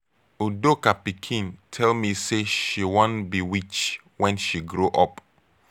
udoka pikin tell me say she wan be witch wen she grow up.